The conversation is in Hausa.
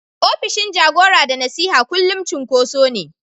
opishin jagora da nasiha kullum cunkoso ne.